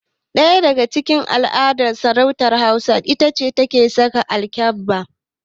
Ɗaya daga cikin alamar sarauta a ƙasar hausa itace saka alkyabba